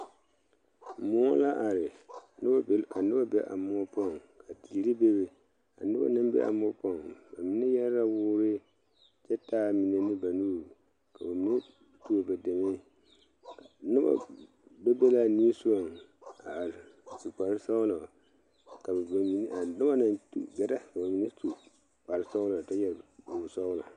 Mõͻ la are, ka noba be a mõͻ poͻŋ, ka teere bebe. A noba naŋ be a moͻ poͻŋ, ba mine yԑre la woore kyԑ taa a mine ne ba nuuri. Ka ba mine tuo ba deme. Noba be be na a nimisogͻŋ a are, a su kpare sͻgelͻ ka ba mine are, noba naŋ gԑrԑ ka ba mine su kpare sͻgelͻ kyԑ yԑre kuri sͻgelͻ.